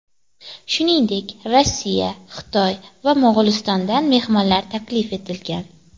Shuningdek, Rossiya, Xitoy va Mo‘g‘ulistondan mehmonlar taklif etilgan.